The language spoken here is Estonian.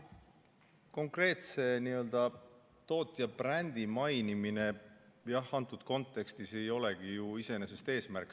Konkreetse tootja brändi mainimine antud kontekstis ei olegi ju iseenesest eesmärk.